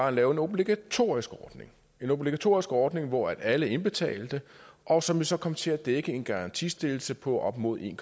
at lave en obligatorisk ordning en obligatorisk ordning hvor alle indbetalte og som jo så kom til at dække en garantistillelse på op mod en